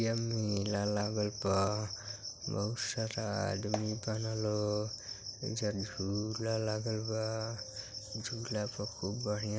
ये मेला लागल बा। बहुत सारा आदमी बाड़न लोग। एईजा झूला लागल बा। झूला पे खूब बढ़िया --